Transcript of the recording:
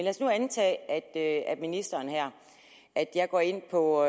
os nu antage at ministeren her jeg går ind på